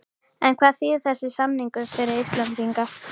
En hvað þýðir þessi samningur fyrir Íslendinga?